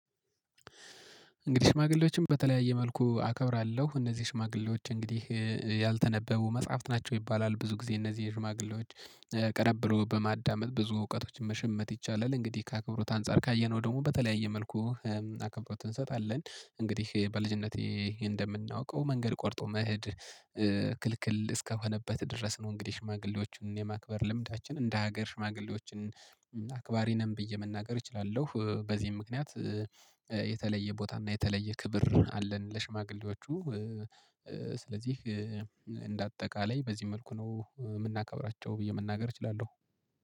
እንግዲህ ሽማግሌዎችን በተለያየ መልኩ አከብራለሁ። እነዚህ ሽማግሌዎች እንግዲህ ያልተነበቡ መጽሐፍት ናቸው ይባላል ብዙ ጊዜ እነዚህ ሽማግሌዎች ቀረብ ብሎ በማዳመጥ ብዙ እውቀቶችን መሸመት ይቻላል። እንግዲህ ከአክብሮት አንፃር ካየነው ደግሞ በተለያየ መልኩ አክብሮት እንሰጣለን። እንግዲህ በልጅነቴ እንደምናውቀው መንገድ ቆርጦ መሄድ ክልክል እስከሆነበት ድረስ ነው። እንግዲህ ሽማግሌዎችን የማክበር ልምዳችን እንደ ሀገር ሽማግሌዎችን አክባሪ ነን ብዬ መናገር እችላለሁ። በዚህም ምክንያት የተለየ ቦታ እና የተለየ ክብር አለን ለሽማግሌዎቹ። ስለዚህ እንደ አጠቃላይ በዚህ መልኩ ነው የምናከብራቸው ብዬ መናገር እችላለሁ